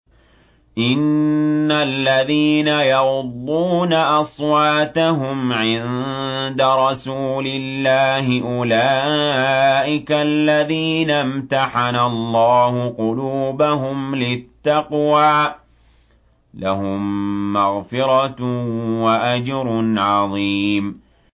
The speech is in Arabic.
إِنَّ الَّذِينَ يَغُضُّونَ أَصْوَاتَهُمْ عِندَ رَسُولِ اللَّهِ أُولَٰئِكَ الَّذِينَ امْتَحَنَ اللَّهُ قُلُوبَهُمْ لِلتَّقْوَىٰ ۚ لَهُم مَّغْفِرَةٌ وَأَجْرٌ عَظِيمٌ